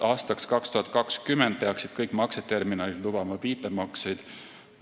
Aastaks 2020 peaksid kõik makseterminalid lubama viipemakseid.